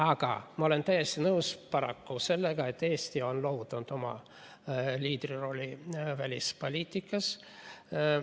Aga ma olen paraku täiesti nõus sellega, et Eesti on loovutanud oma liidrirolli välispoliitikas.